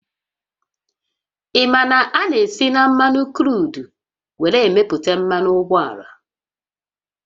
Ị ma na a na-esi na mmanụ kruudu were emeputa mmanụ ụgbọala?